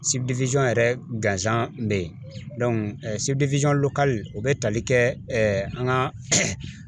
yɛrɛ gansan be yen u be tali kɛ ɛɛ an ka